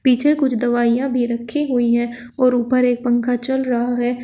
पीछे कुछ दवाइयां भी रखी हुई है और ऊपर एक पंखा चल रहा है।